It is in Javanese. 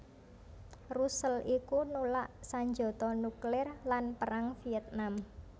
Russell iku nulak sanjata nuklir lan Perang Vietnam